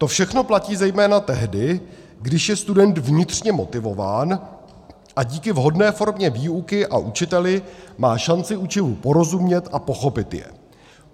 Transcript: To všechno platí zejména tehdy, když je student vnitřně motivován a díky vhodné formě výuky a učiteli má šanci učivu porozumět a pochopit je.